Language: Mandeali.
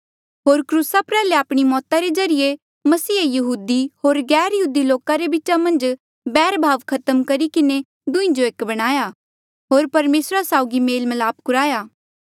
होर क्रूसा प्रयाल्हे आपणी मौता रे ज्रीए मसीहे यहूदी होर गैरयहूदी लोका रे बीचा मन्झ बैरभाव खत्म करी किन्हें दुहीं जो एक बणाया होर परमेसरा साउगी मेलमिलाप कुराया